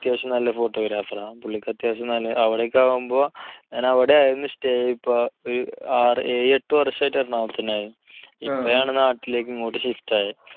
പുള്ളി അത്യാവശ്യം നല്ല photographer ആണ്. പുള്ളിക്ക് അത്യാവശ്യം നല്ല, അവിടെയൊക്കെ ആകുമ്പോൾ ഞാൻ അവിടെയായിരുന്നു stay. ഇപ്പോൾ ആറ് ഏഴെട്ടു വർഷമായിട്ട് എറണാകുളത്ത് തന്നെയായിരുന്നു. ഇപ്പോഴാണ് നാട്ടിലേക്ക് ഇങ്ങോട്ട് shift ആയത്.